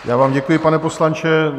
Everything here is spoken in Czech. Já vám děkuji, pane poslanče.